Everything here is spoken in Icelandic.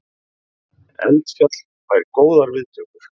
Eldfjall fær góðar viðtökur